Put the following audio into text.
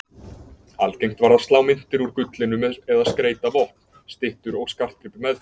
Algengt var að slá myntir úr gullinu eða skreyta vopn, styttur og skartgripi með því.